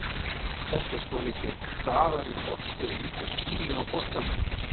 Þetta er svolítið hraðari bolti og lítill tími á boltanum.